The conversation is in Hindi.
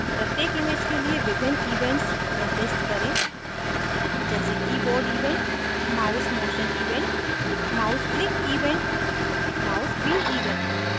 प्रत्येक images के लिए विभिन्न events निर्दिष्ट करें जैसे keyboard event mousemotion event mouseclick event mousewheel event